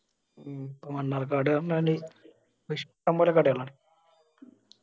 മണ്ണാറക്കാട് ന്ന് പറഞ്ഞാല് ഇഷ്ടംപോലെ കടകളാണ്.